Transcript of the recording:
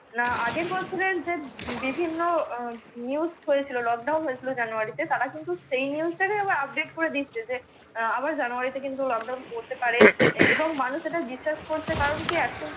না আগের বছরের যে বিভিন্ন উহ নিউজ হয়েছিল lockdown হয়েছিল জানুয়ারিতে, তারা কিন্তু সেই নিউজটা কে আবার আপডেট করে দিচ্ছে যে আবার জানুয়ারিতে কিন্তু lockdown পড়তে পারে এবং মানুষ এটা বিশ্বাস করছে কারণ কি এখন